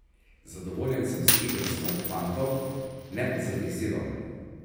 Zadovoljen sem z igro svojih fantov, ne pa z izidom.